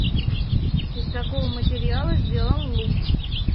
из какого материала сделан лук